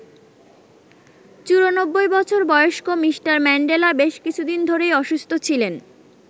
৯৪ বছর বয়স্ক Mr Mandela বেশ কিছুদিন ধরেই অসুস্থ ছিলেন।